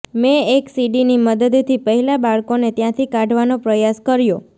મે એક સીડીની મદદથી પહેલા બાળકોને ત્યાથી કાઢવાનો પ્રયાસ કર્યો